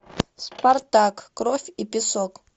спартак кровь и песок